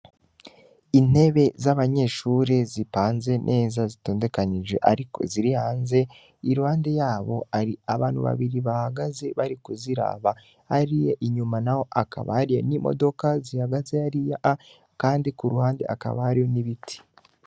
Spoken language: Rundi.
Intebe z'abanyeshuri zipanze neza zitondekanije, ariko zirihanze irande yabo ari abantu babiri bahagaze bari kuziraba ariya inyuma na ho akabariya n'imodoka zihagaze ariya a, kandi ku ruhande akabaryo n'ibiti.